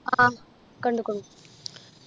ആ കണ്ടിക്കുണു